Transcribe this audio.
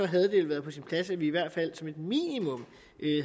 havde det været på sin plads at vi i hvert fald som et minimum